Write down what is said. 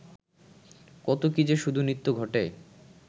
কত কী-যে শুধু নিত্য ঘটে